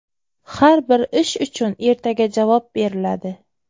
Har bir ish uchun ertaga javob beriladi.